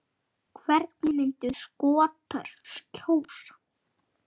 Hvernig myndu Skotar kjósa?